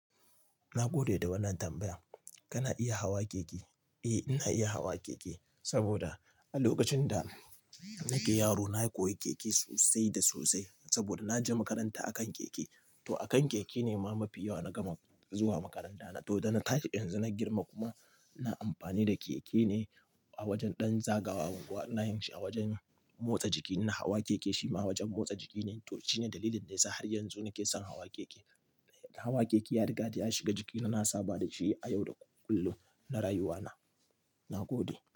Na gode da wannan tambayan. Kana iya hawa keke? Eh, ina iya hawa keke sabida a lokacin da nake yaro nayi koyi keke sosai da sosai sabida naje makaranta akan keke. To akan keke ne ma mafi yawa na gama zuwa makaranta. To da na tashi yanzu na girma kuma ina amfani da keke ne a wajan ɗan zagawa. Ina yin shi a wajen motsa jiki. Ina hawa keke shima wajen motsa jiki ne. To shine dalilin da yasa har yanzu nake son hawa keke. Hawa keke ya riga da ya shiga jikina. Na saba da shi a yau da kullum na rayuwana. Na gode.